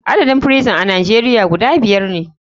Adadin firison a nijeria guda biyar ne.